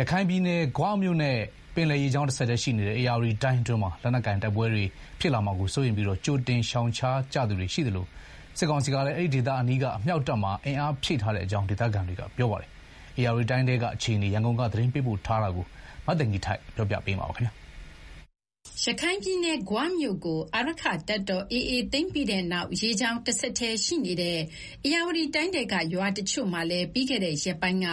ရခိုင်ပြည်နယ်၊ ဂွမြို့နဲ့ ပင်လယ်ရေကြောင်း တဆက်တည်းရှိနေတဲ့ ဧရာဝတီတိုင်းအတွင်းမှာ လက်နက်ကိုင် တိုက်ပွဲတွေ ဖြစ်လာမှာကို စိုးရိမ်ပြီး ကြိုတင်ရှောင်ရှားကြသူတွေရှိသလို၊ စစ်ကောင်စီကလည်း အမြှောက်တပ်မှာ အင်အားဖြည့်ထားတဲ့အကြောင်း ဒေသခံတွေက ပြောပါတယ်။ ဧရာဝတီတိုင်းထဲက အခြေအနေ ရန်ကုန်ကနေ သတင်းပေးပို့ထားတာကိုပြောပြမှာပါ။ ရခိုင်ပြည်နယ်၊ ဂွမြို့ကို အာရက္ခတပ်တော် AA သိမ်းပြီးတဲ့နောက် ရေကြောင်းတဆက်တည်းရှိနေတဲ့ ဧရာဝတီတိုင်းထဲက ရွာတချို့မှာလည်း ပြီးခဲ့တဲ့ရက်ပိုင်းက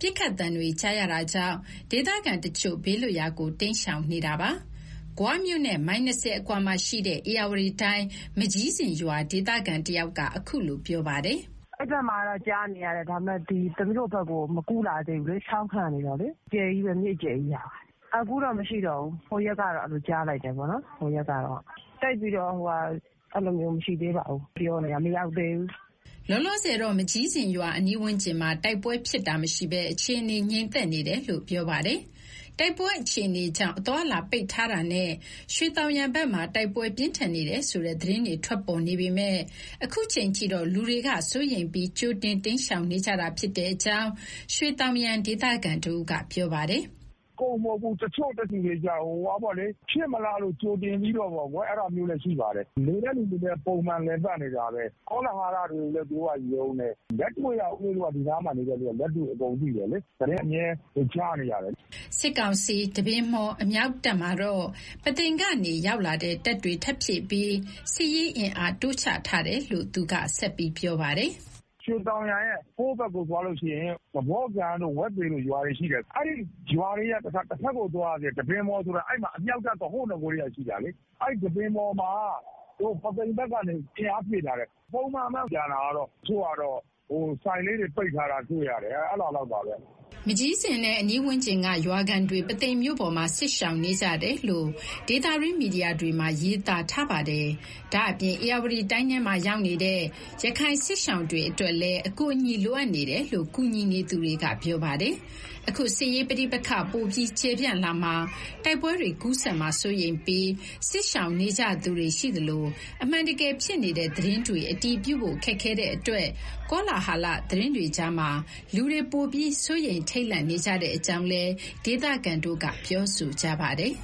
ပစ်ခတ်သံတွေ ကြားရတာကြောင့် ဒေသခံတချို့ ဘေးလွတ်ရာကို တိမ်းရှောင်နေတာပါ။ ဂွမြို့နဲ့ မိုင် ၂၀ အကွာမှာရှိတဲ့ ဧရာဝတီတိုင်း၊ မကျီးဇင်ရွာ ဒေသခံတယောက်က အခုလို ပြောပြပါတယ်။ "အဲဒီဘက်မှာတော့ ကြားနေရတယ်။ ဒါပေမဲ့ ရွှေသောင်ယံဘက်ကို မကူးလာသေးဘူးလေ။ ချောင်းခံနေတာလေ၊ မြစ်အကျယ်ကြီးပဲဟာ။ မကျီးဇင်ရွာဘက်မှာ ပစ်ခတ်သံတွေ အခုတော့မရှိတော့ဘူး။ ဟိုရက်တုန်းကတော့ ကြားလိုက်ရတယ်။ အဖွဲ့တွေလည်း မရှိသေးပါဘူး။ ပြောနေကြတာပဲ၊ မရောက်သေးဘူး။" လောလောဆယ်တော့ မကျီးဇင်ရွာအနီးဝန်းကျင်မှာ တိုက်ပွဲဖြစ်ပွားတာ မရှိဘဲ အခြေအနေ ငြိမ်သက်နေတယ်လို့ ပြောပါတယ်။ တိုက်ပွဲအခြေအနေကြောင့် အသွားအလာပိတ်ထားတာနဲ့ ရွှေသောင်ယံဘက်မှာ တိုက်ပွဲပြင်းထန်နေတယ်ဆိုတဲ့ သတင်းတွေထွက်ပေါ်နေပေမယ့် အခုချိန်ထိတော့ လူတွေက စိုးရိမ်ပြီး ကြိုတင်တိမ်းရှောင်နေကြတာ ဖြစ်တဲ့အကြောင်း ရွှေသောင်ယံ ဒေသခံတဦးက ပြောပါတယ်။ "အကုန်မဟုတ်ဘူး။ တချို့တွေကျတော့ ဖြစ်မလားလို့ ကြိုတင်ပြီးတော့ ရှောင်ကြတာမျိုးလည်း ရှိပါတယ်။ နေတဲ့သူတွေလည်း ပုံမှန်လည်ပတ်နေတာပဲ။ ကောလာဟလတွေကိုလည်း သူတို့ကယုံတယ်။ လက်တွေ့က ဦးလေးတို့က ဒီနားမှာနေတဲ့သူတွေက လက်တွေ့အကုန်သိတယ်လေ။ သတင်းအမြဲ ကြားနေရတယ်လေ။" စစ်ကောင်စီ တပင်မှော် အမြောက်တပ်မှာတော့ ပုသိမ်ကနေရောက်လာတဲ့ တပ်တွေ ထပ်ဖြည့်ပြီး စစ်ရေးအင်အား တိုးချထားတယ်လို့ သူက ဆက်ပြောပါတယ်။ "ရွှေသောင်ယံရဲ့ ဟိုးဘက်ကိုသွားရင် သဖော့ကန်တို့၊ ဝက်သေတို့ ရွာတွေရှိတယ်။ အဲဒီရွာတွေရဲ့ တဖက်ကိုသွားရသေးတယ်၊ တပင်မှော်ဆိုတာ။ အဲဒီမှာ အမြောက်တပ်ဆိုတာ ဟိုးနဂိုကတည်းက ရှိတာလေ။ အဲဒီ တပင်မှော်မှာ ပုသိမ်ဘက်ကနေ အင်အားဖြည့်ထားတယ်။ ကျန်တာကတော့ ပုံမှန်ပဲ။ တချို့ကတော့ ဆိုင်လေးတွေပိတ်ထားတာ တွေ့ရတယ်။" မကျီးဇင်နဲ့ အနီးဝန်းကျင်က ရွာခံတွေ ပုသိမ်မြို့ပေါ်မှာ စစ်ရှောင်နေကြတယ်လို့ ဒေသတွင်းမီဒီယာတွေမှာ ရေးသားထားပါတယ်။ ဒါ့အပြင် ဧရာဝတီတိုင်းထဲမှာ ရောက်နေတဲ့ ရခိုင်စစ်ရှောင်တွေအတွက်လည်း အကူအညီလိုအပ်နေတယ်လို့ ကူညီနေသူတွေက ပြောပါတယ်။ အခုစစ်ရေးပဋိပက္ခ ပိုပြီးကျယ်ပြန့်လာမှာ တိုက်ပွဲတွေ ကူးစက်မှာ စိုးရိမ်ပြီး စစ်ရှောင်နေကြသူတွေ ရှိသလို၊ အမှန်တကယ်ဖြစ်နေတဲ့ သတင်းတွေ အတည်ပြုဖို့ ခက်ခဲ့တဲ့အတွက် ကောလဟာလ သတင်းတွေကြားမှာ လူတွေပိုပြီး စိုးရိမ်ထိတ်လန့်နေတဲ့အကြောင်း ဒေသခံတွေ ပြောဆိုကြပါတယ်